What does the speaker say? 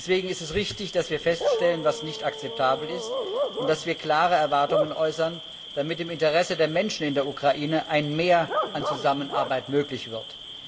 Deswegen ist es richtig, dass wir feststellen, was nicht akzeptabel ist, und dass wir klare Erwartungen äußern, damit im Interesse der Menschen in der Ukraine ein Mehr an Zusammenarbeit möglich wird.